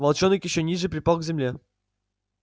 волчонок ещё ниже припал к земле